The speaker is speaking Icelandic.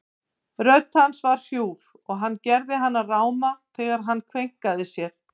Rödd hans var hrjúf og hann gerði hana ráma þegar hann kveinkaði sér.